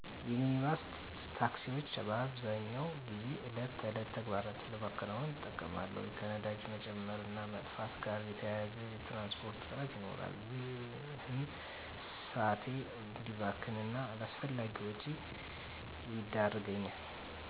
የሚኒባስ ታክሲወችን በአብዛኛው ጊዜ የዕለት ተዕለት ተግባራትን ለመከወን እጠቀማለሁ። ከነዳጅ መጨመር እና መጥፋት ጋር በተያያዘ የትራንስፖርት እጥረት ይኖራል። ይህም ሰአቴ እዲባክን እና አላስፈላጊ ወጪ ይዳረገኛል።